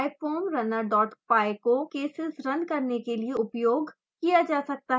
pyfoamrunner dot py को cases run करने के लिए उपयोग किया जा सकता है